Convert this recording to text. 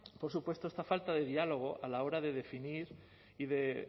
por supuesto esta falta de diálogo a la hora de definir y de